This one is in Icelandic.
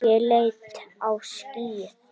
Ég leit á skýið.